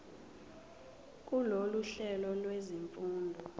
kulolu hlelo lwezifundo